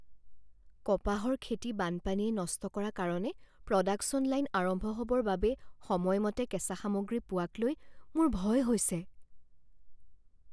কপাহৰ খেতি বানপানীয়ে নষ্ট কৰা কাৰণে প্ৰডাকচন লাইন আৰম্ভ হ'বৰ বাবে সময়মতে কেঁচা সামগ্ৰী পোৱাক লৈ মোৰ ভয় হৈছে।